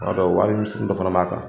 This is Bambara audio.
fana b'a kan